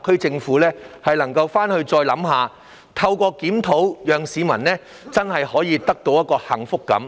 但願當局透過檢討，讓市民真正獲得幸福感。